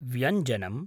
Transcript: व्यञ्जनम्